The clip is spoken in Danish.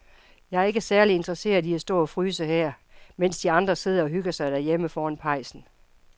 Jeg er ikke særlig interesseret i at stå og fryse her, mens de andre sidder og hygger sig derhjemme foran pejsen.